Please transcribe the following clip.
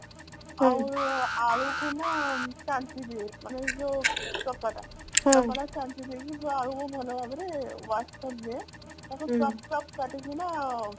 ଆଉ ଆଳୁକୁ ନା ଚାଞ୍ଚି ଦିଏ ମାନେ ଚୋପାଟା ଚୋପାଟା ଚାଞ୍ଚି ଦେଇକି ସେ ଆଳୁକୁ ଭଲ ଭାବରେ wash କରିଦିଏ ଟାକୁ chop chop କାଟିକିନା